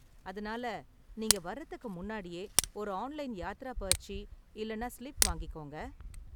அதனால நீங்க வர்றதுக்கு முன்னாடியே ஒரு ஆன்லைன் யாத்ரா பர்ச்சி இல்லனா ஸ்லிப் வாங்கிக்கோங்க.